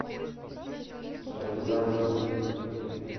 партизанском